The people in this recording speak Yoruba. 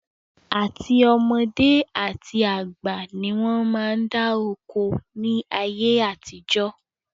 Àti ọmọdé àti àgbà ni wọn máa ń dá oko ni ayé àtijọ́